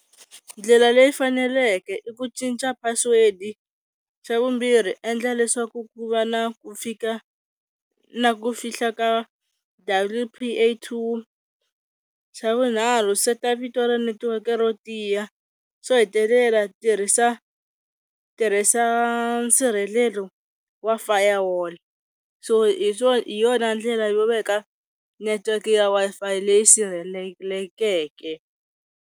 Ndlela leyi faneleke i ku cinca password, xa vumbirhi endla leswaku ku va na ku fika na ku fihla ka double PAtwo, xa vunharhu seta vito ra netiweke ro tiya, xo hetelela tirhisa tirhisa nsirhelelo wa fire wall so hi swo, hi yona ndlela yo veka network ya Wi-Fi leyi sirhelelekeke.